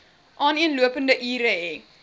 aaneenlopende ure hê